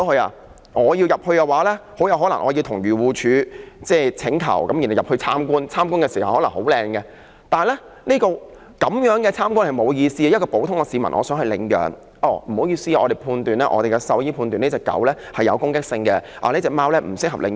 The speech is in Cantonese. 如果我要進入，很可能要向漁護署申請入內參觀，參觀時可能環境很好，但這樣參觀並無意思，一名普通市民想領養動物，署方往往表示獸醫判斷這隻狗有攻擊性，那隻貓亦不適合領養。